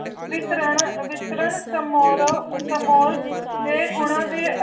ਵਿਪ੍ਰਾਨਾ ਵਿਪ੍ਰਾਂ ਸਮੋਰੋ ਸਮੋਰ ਦੇ ਗੁਣਾ ਦੀ